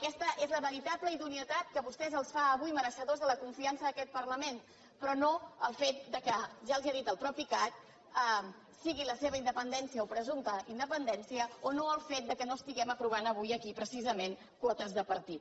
aquesta és la veritable idoneïtat que a vostès els fa avui mereixedors de la confiança d’aquest parlament però no el fet que ja els ho ha dit el mateix cac sigui la seva independència o presumpta inde·pendència o no el fet que no estiguem aprovant avui aquí precisament quotes de partit